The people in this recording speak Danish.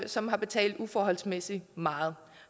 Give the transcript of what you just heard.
som har betalt uforholdsmæssig meget